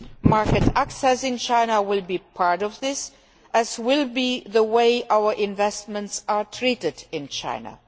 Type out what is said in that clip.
Market access in China will be part of this, as will the way our investments are treated in China.